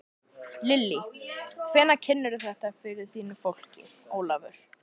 Lillý: Hvenær kynnirðu þetta fyrir þínu fólki, Ólafur?